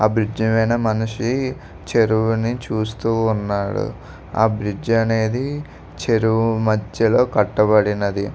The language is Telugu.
ఆ బ్రిడ్జ్ మీన మనిషి చెరువుని చూస్తూ ఉన్నాడు. ఆ బ్రిడ్జ్ అనేది చెరువు మధ్యలో కట్టబడినది.